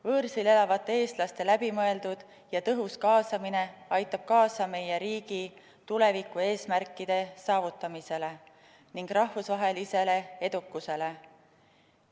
Võõrsil elavate eestlaste läbimõeldud ja tõhus kaasamine aitab kaasa meie riigi tulevikueesmärkide saavutamisele ning rahvusvahelisele edukusele.